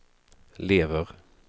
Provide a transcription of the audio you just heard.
lever